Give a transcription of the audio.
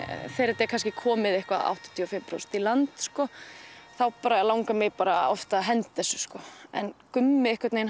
þegar þetta er komið áttatíu og fimm prósent í land langar mig bara að henda þessu Gummi